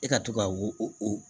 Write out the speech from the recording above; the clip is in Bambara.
E ka to ka o